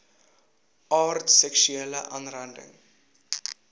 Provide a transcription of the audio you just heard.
aard seksuele aanranding